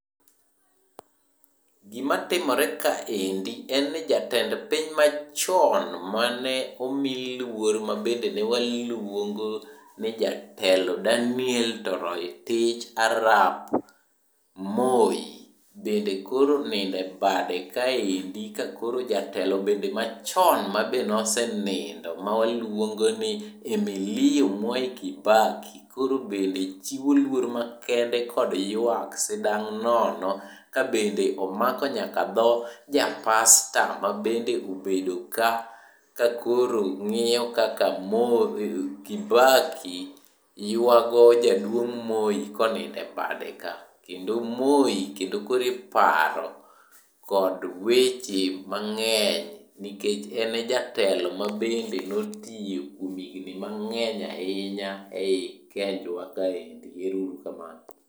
Gima timore kaendi en ni jatend piny machon mane omiluor ma bende ne waluongo ni jatelo Daniel Toroitich arap Moi bende koro onindo bade kaendi ka koro jatelo bende machon ma be ne osenindo mawaluongo ni Emilio Mwai Kibaki koro bende chiwo lworo makende kod ywak sidang' nono kabende omako nyaka dho ja pasta ma bende obedo ka ka koro ng'iyo kaka Kibaki ywago jaduong' Moi konindo e bade ka. Kendo moi kendo koro iparo kod weche mang'eny nikech ene jatelo mabende notiyo kuom higni mang'eny ahinya e yi Kenynjwa kaendi.